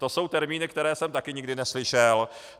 To jsou termíny, které jsem taky nikdy neslyšel.